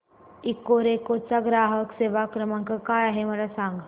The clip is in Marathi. इकोरेको चा ग्राहक सेवा क्रमांक काय आहे मला सांग